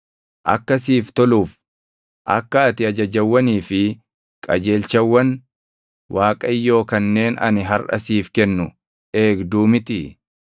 akka siif toluuf, akka ati ajajawwanii fi qajeelchawwan Waaqayyoo kanneen ani harʼa siif kennu eegduu mitii?